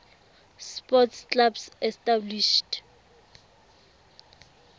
sports clubs established